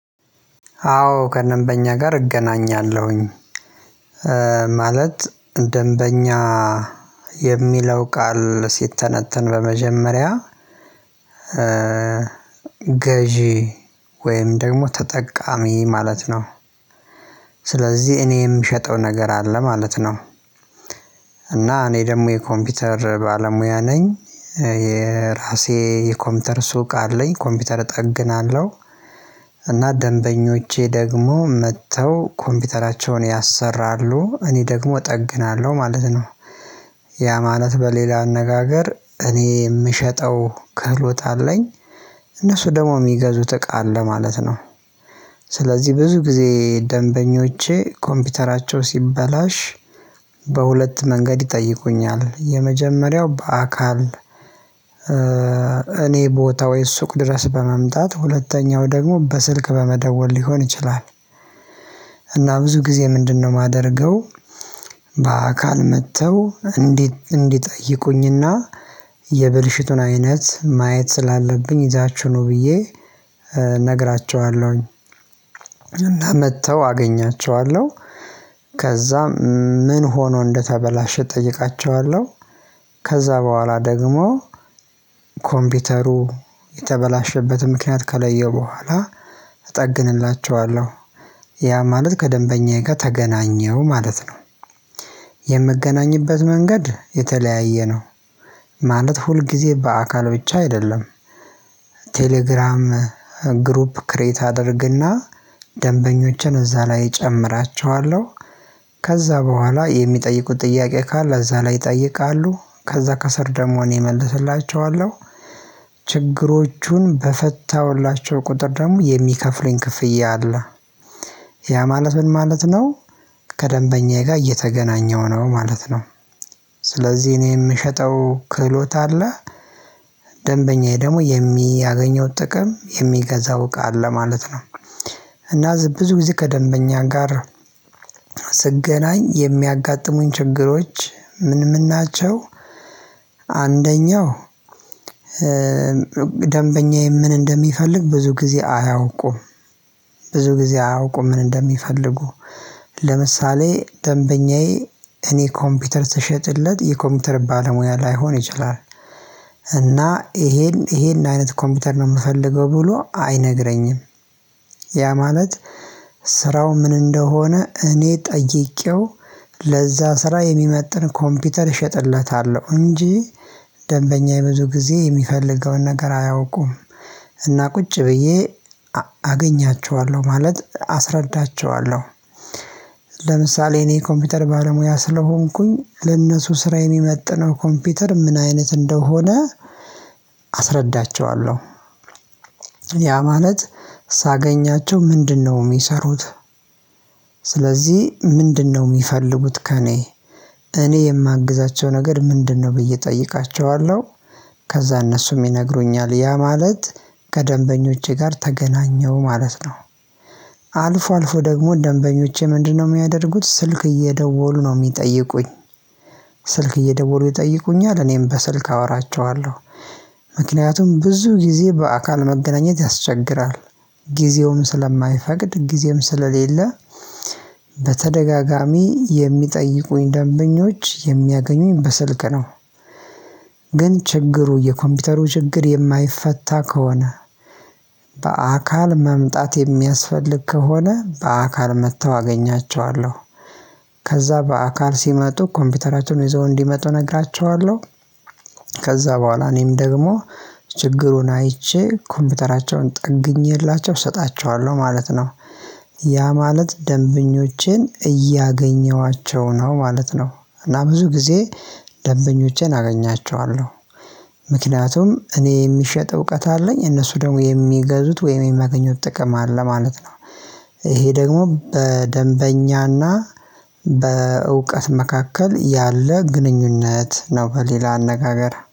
አዎ ከደንበኛ ጋር እገናኛለሁኝ። ማለት ደንበኛ የሚለው ቃል ሲተነተን በመጀመሪያ ገዢ ወይም ደግሞ ተጠቃሚ ማለት ነው። ስለዚህ እኔ የምሸጠው ነገር አለ ማለት ነው። እና እኔ ደግሞ የኮምፒውተር ባለሙያ ነኝ የራሴ የኮምፒውተር ሱቅ አለኝ ኮምፒውተር እጠግናለሁ። እና ደንበኞቼ ደግሞ መጥተው ኮምፒውተራቸውን ያሰራሉ እኔ ደግሞ እጠግናለሁ ማለት ነው። ያ ማለት በሌላ አነጋገር እኔ የምሸጠው ከህሎት አለኝ። እነሱ ደግሞ የሚገዙት እቃ አለ ማለት ነው። ስለዚህ ብዙ ጊዜ ደንበኞቼ ኮምፒውተራቸው ሲበላሽ በሁለት መንገድ ይጠይቁኛል የመጀመሪያው በአካል እኔ ቦታ ወይ ሱቅ ድረስ በመምጣት ሁለተኛው ደግሞ በስልክ በመደወል ሊሆን ይችላል። እና ብዙ ጊዜ ምንድነው የማደርገው? በአካል መጥተው እንዲጠይቁኝና የብልሽቱን አይነት ማየት ስላለብኝ ይዛቹህ ነው ብዬ እነግራችኋለሁኝ። እና መጥተው አገኛችኋለሁ። ምን ሆኖ እንደተበላሸ እጠይቃቸዋለሁ? ከዛ በኋላ ደግሞ ኮምፒውተሩ የተበላሸበትን ምክንያት ከለየው በኋላ እጠግንላቸዋለሁ። ያ ማለት ከደንበኛዬ ጋር ተገናኘው ማለት ነው። የምገናኝበት መንገድ የተለያየ ነው። ማለት ሁል ጊዜ በአካል ብቻ አይደለም። ቴሌግራም ግሩፕ ክሬት አደርግና ደንበኞቸን እዛ ላይ እጨምራቸዋለሁ። ከዛ በኋላ የሚጠይቁት ጥያቄ ካለ እዛ ላይ ይጠይቃሉ ከዛ ከስር ደግሞ እኔ እመልስላቸዋለሁ። ችግሮቹን በፈታሁላቸው ቁጥር ደግሞ የሚከፍሉኝ ክፍያ አለ። ያ ማለት ምን ማለት ነው? ከደንበኛዬ ጋር እየተገናኘው ነው ማለት ነው። ስለዚህ እኔ የምሸጠው ክህሎት አለ። ደንበኛዬ ደግሞ የሚያገኘው ጥቅም የሚገዛው እቃ አለ ማለት ነው። እና ብዙ ጊዜ ከደንበኛ ጋር ስገናኝ የሚያጋጥሙኝ ችግሮች ምን ምን ናቸው? አንደኛው ደንበኛዬ ምን እንደሚፈልግ ብዙ ጊዜ አያውቁም። ብዙ ጊዜ አያውቁም ምን እንደሚፈልጉ። ለምሳሌ ደንበኛዬ እኔ ኮምፒውተር ስሸጥለት የኮምፒውተር ባለሙያ ላይሆን ይችላል። እና ይሄን ይሄን አይነት ኮምፒውተር ነው የምፈልገው ብሎ አይነግረኝም። ያ ማለት ስራው ምን እንደሆነ እኔ ጠይቄው ለዛ ስራ የሚመጥን ኮምፒውተር እሸጥለታለሁ እንጂ ደንበኛየ ብዙ ጊዜ የሚፈልገውን ነገር አያውቁም። እና ቁጭ ብዬ አገኛቸዋለሁ ማለት አስረዳቸዋለሁ። ለምሳሌ እኔ ኮምፒውተር ባለሙያ ስለሆንኩኝ ለእነሱ ስራ የሚመጥነው ኮምፒውተር ምን አይነት እንደሆነ አስረዳቸዋለሁ። ያ ማለት ሳገኛቸው ምንድነው የሚሰሩት? ስለዚህ ምንድነው የሚፈልጉት ከእኔ እኔ የማግዛቸው ነገር ምንድነው ብዬ እጠይቃቸዋለሁ? ከዛ እነሱም ይነግሩኛል ያ ማለት ከደንበኞቼ ጋር ተገናኘው ማለት ነው። አልፎ አልፎ ደግሞ ደንበኞቼ ምንድነው የሚያደርጉት ስልክ እየደወሉ ነው የሚጠይቁኝ? ስልክ እየደወሉ ይጠይቁኛል እኔም በስልክ አወራቸዋለሁ። ምክንያቱም ብዙ ጊዜ በአካል መገናኘት ያስቸግራል። ጊዜውም ስለማይፈቅድ ጊዜም ስለሌለ በተደጋጋሚ የሚጠይቁኝ ደንበኞች የሚያገኙኝ በስልክ ነው። ግን ችግሩ የኮምፒውተሩ ችግር የማይፈታ ከሆነ በአካል መምጣት የሚያስፈልግ ከሆነ በአካል መጥተው አገኛቸዋለሁ። ከዛ በአካል ሲመጡ ኮምፒውተራቸውን ይዘው እንዲመጡ እነግራቸዋለሁ። ከዛ በኋላ እኔም ደግሞ ችግሩን አይቼ ኮምፒውተራቸውን ጠግኜላቸው እሰጣቸዋለሁ ማለት ነው። ያ ማለት ደንበኞቼን እያገኘኋቸው ነው ማለት ነው። እና ብዙ ጊዜ ደንበኞቼን አገኛቸዋለሁ። ምክንያቱም እኔ የሚሸጥ እውቀት አለኝ እነሱ ደግሞ የሚገዙት ወይም የሚያገኙት ጥቅም አለ ማለት ነው። ይሄ ደግሞ በደንበኛና በእውቀት መካከል ያለ ግንኙነት ነው በሌላ አነጋገር